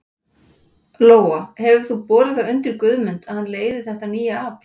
Lóa: Hefur þú borið það undir Guðmund að hann leiði þetta nýja afl?